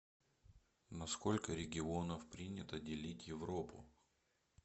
на сколько регионов принято делить европу